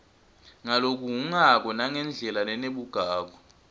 ngalokuhhungako nangendlela lenebugagu